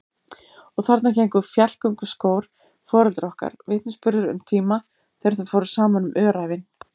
Og þarna héngu fjallgönguskór foreldra okkar, vitnisburður um tíma þegar þau fóru saman um öræfin.